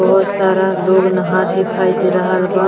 बहुत सारा लोग नहात दिखाई दे रहल बा।